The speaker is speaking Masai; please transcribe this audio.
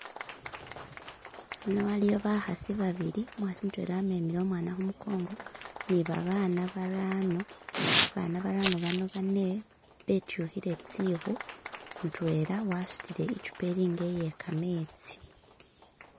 ino waliwo bahasi babili umuhasi mutwela wamemele umwana humukongo nibabana barano abana barano bano bane betyuhile tsihu mutwela wasutile ichupa ilinga iyekametsi